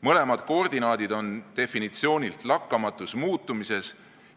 Mõlemad koordinaadid on definitsioonilt lakkamatus muutumises,